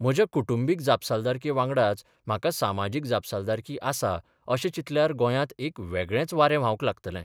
म्हज्या कुटुंबीक जापसालदारकेवांगडाच म्हाका सामाजीक जापसालदारकीय आसा अशें चिंतल्यार गोंयांत एक वेगळेंच वारें व्हावंक लागतलें.